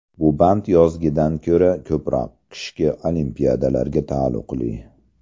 Bu band yozgidan ko‘ra ko‘proq qishki Olimpiadalarga taalluqli.